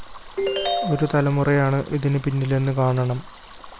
ഒരു തലമുറയാണ് ഇതിന് പിന്നിലെന്ന് കാണണം